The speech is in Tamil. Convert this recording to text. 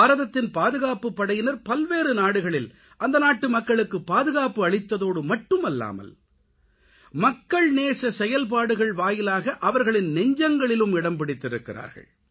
பாரதத்தின் பாதுகாப்புப் படையினர் பல்வேறு நாடுகளில் அந்த நாட்டுமக்களுக்குப் பாதுகாப்பு அளித்ததோடு மட்டுமல்லாமல் மக்கள் நேச செயல்பாடுகள் வாயிலாக அவர்களின் நெஞ்சங்களிலும் இடம் பிடித்திருக்கிறார்கள்